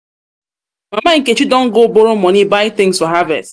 nkechi don go borrow money buy things for harvest